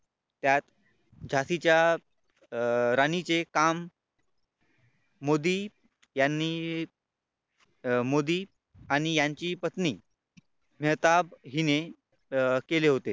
त्यात झाशीच्या अं राणीचे काम मोदी यांनी मोदी आणि यांची पत्नी मेहताब हिने केले होते.